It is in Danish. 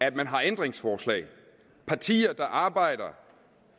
at man har ændringsforslag partier der arbejder